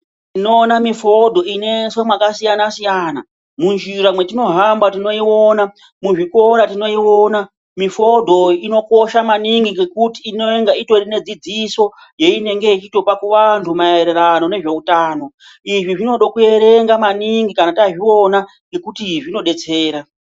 Tinoona mifodho inoiswe mwakasiyana siyana, munjira metinohamba tinoiona, muzvikora tinoiona. Mifodho inokosha maningi ngekuti inonga utori nedzidziso yainenga yeitopa kuvantu maererano nezveutano. Izvi zvinode kuerenga maningi kana tazviona ngekuti zvinodetsera.